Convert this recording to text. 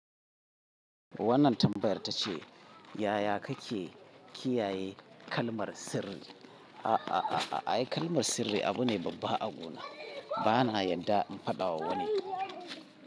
Wannan tambayar ta ce, yaya kake kiyaye kalmar sirri? A a a ai kalmar sirri abu ne babba a guna. Bana yadda in faɗa wa wani.